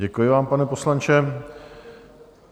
Děkuji vám, pane poslanče.